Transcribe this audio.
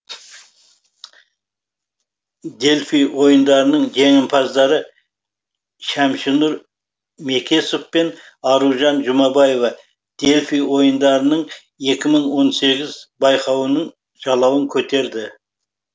дельфий ойындарының жеңімпаздары шәмшінұр мекесов пен аружан жұмабаева дельфий ойындарының екі мың он сегіз байқауының жалауын көтерді